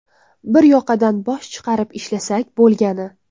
Bir yoqadan bosh chiqarib ishlasak bo‘lgani.